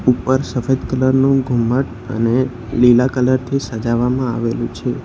ઉપર સફેદ કલર નું ઘુમ્મટ અને લીલા કલર થી સજાવવામાં આવેલું છે.